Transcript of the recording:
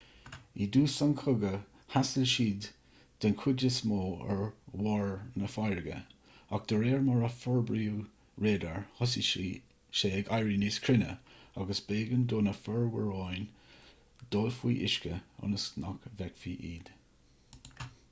i dtús an chogaidh thaistil siad den chuid is mó ar bharr na farraige ach de réir mar a forbraíodh radar thosaigh sé ag éirí níos cruinne agus b'éigean do na fomhuireáin dul faoi uisce ionas nach bhfeicfí iad